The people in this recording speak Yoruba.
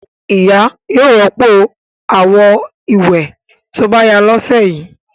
Ìyá yóò rọ́pò àwo-ìwẹ̀ tó bá yá lọ́sẹ̀ yìí.